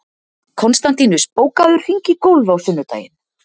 Konstantínus, bókaðu hring í golf á sunnudaginn.